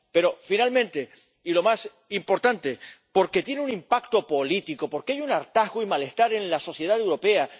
Pero, finalmente, y lo más importante, porque tiene un impacto político, porque hay un hartazgo y malestar en la sociedad europea.